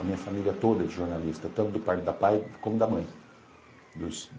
A minha família toda é de jornalista, tanto da parte da pai como da mãe.